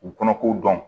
U kɔnɔ ko dɔn